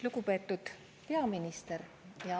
Lugupeetud peaminister!